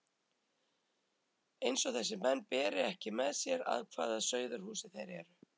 Eins og þessir menn beri ekki með sér af hvaða sauðahúsi þeir eru!